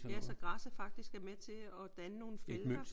Ja så græsset faktisk er med til at danne nogle felter